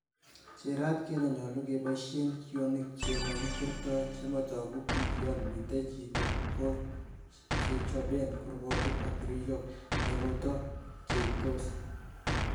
Cheerat kele nyolu keboishen kionik che mokikwerto, chemotoogu bii yon miten chito goo kechoben kurgotiik ak tirishok nekoto cheyeitos.